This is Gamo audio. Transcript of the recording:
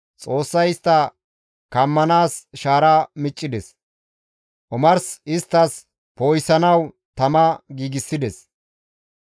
Xoossay istta kammanaas shaara miccides; omars isttas poo7isanawu tama giigsides.